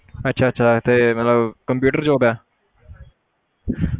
ਅੱਛਾ ਅੱਛਾ ਤੇ ਮਤਲਬ computer job ਹੈ